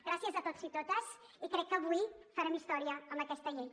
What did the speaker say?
gràcies a tots i totes i crec que avui farem història amb aquesta llei